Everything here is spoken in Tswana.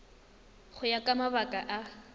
go ya ka mabaka a